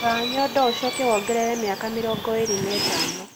Rora nyondo ũcoke wongerere mĩaka mirongo ĩrĩ na ĩtano